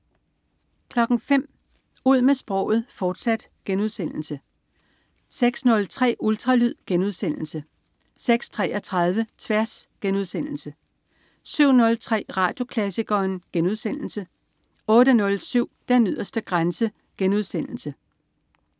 05.00 Ud med sproget, fortsat* 06.03 Ultralyd* 06.33 Tværs* 07.03 Radioklassikeren* 08.07 Den yderste grænse*